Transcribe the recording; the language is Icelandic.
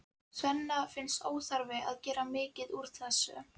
Svenna finnst óþarfi að gera mikið úr þessu.